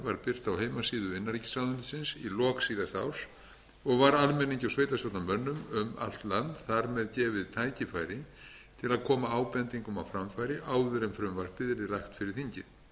heimasíðu innanríkisráðuneytisins í lok síðasta árs og var almenningi og sveitarstjórnarmönnum um allt land þar með gefið tækifæri til að koma ábendingum á framfæri áður en frumvarpið yrði lagt fyrir þingið